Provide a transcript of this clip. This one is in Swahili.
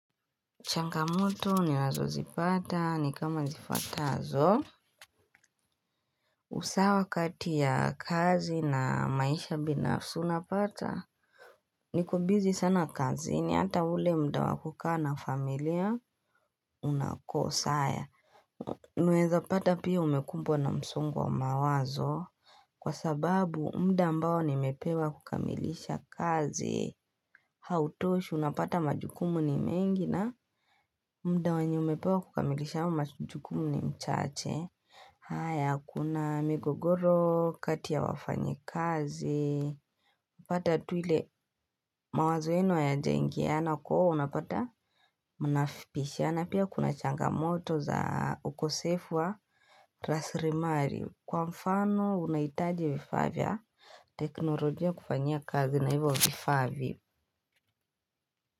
Changamoto ninazozipata ni kama zifuatazo usawa wakati ya kazi na maisha binafsi unapata Nikobizi sana kazini hata ule muda wa kukaa na familia unako saa unaeza pata pia umekumbwa na msongo wa mawazo Kwa sababu muda ambao nimepewa kukamilisha kazi Hautoshi unapata majukumu ni mengi na muda wanye umepewa kukamilisha majukumu ni mchache haya kuna migogoro, kati ya wafanyikazi upate tu ile mawazoeno yajaingiana kuwa unapata mnafikishiana Pia kuna changamoto za ukosefu wa raslimali Kwa mfano unaitaji vifa vya teknolojia kufanyia kazi na hivyo vifaa vi.